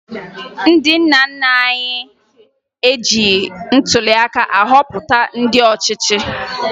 Ndị nna nna anyị ejighi ntụliaka họpụta ndị ọchịchị